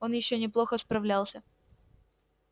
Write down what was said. он ещё неплохо справлялся